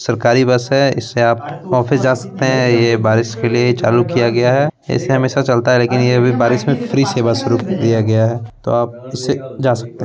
सरकारी बस है इससे आप ऑफिस जा सकते हैं। ये बारिश के लिए चालू किया गया है। ऐसे हमेशा चलता है लेकिन ये अभी बारिश में फ्री सेवा शुरू की गयी है तो आप इससे जा सकते हैं।